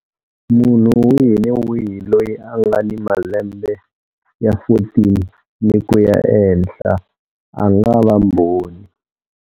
Munhu wihi ni wihi loyi a nga ni malembe ya 14 ni ku ya ehenhla a nga va mbhoni.